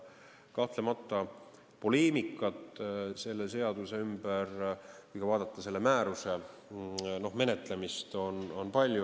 Kahtlemata, poleemikat selle seaduse ümber, kui vaadata selle määruse menetlemist, on palju.